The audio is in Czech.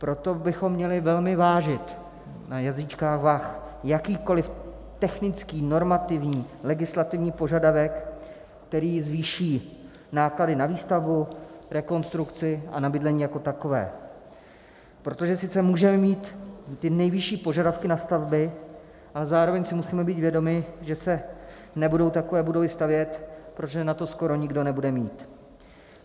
Proto bychom měli velmi vážit na jazýčkách vah jakýkoliv technický normativní legislativní požadavek, který zvýší náklady na výstavbu, rekonstrukci a na bydlení jako takové, protože sice můžeme mít ty nejvyšší požadavky na stavby, ale zároveň si musíme být vědomi, že se nebudou takové budovy stavět, protože na to skoro nikdo nebude mít.